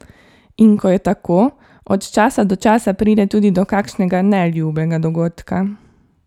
In ko je tako, od časa do časa pride tudi do kakšnega neljubega dogodka.